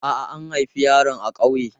A'a, an haifi yaron a ƙauye.